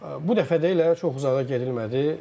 Bu dəfə də elə çox uzağa gedilmədi.